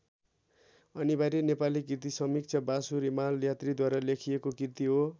अनिवार्य नेपाली कृतिसमीक्षा वासु रिमाल यात्रीद्वारा लेखिएको कृति हो।